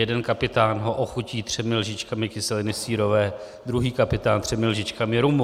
Jeden kapitán ho ochutí třemi lžičkami kyseliny sírové, druhý kapitán třemi lžičkami rumu.